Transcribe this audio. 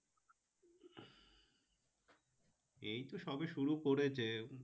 এই তো সবে শুরু করেছে